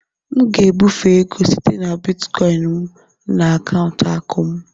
M ga-ebufe ego site na bịtịkoin m na akaụntụ akụ m.